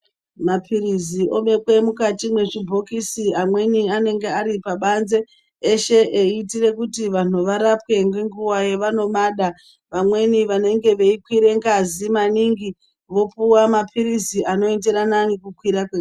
Mapirizi oonekwa mukati mezvibhokisi amweni anenge Ari pabanze eshe eitira kuti vantu varapwe ngenguwa yavanomada vamweni nenguwa veikwira ngazi maningi vopuwa mapirizi anoenderana nekukwira.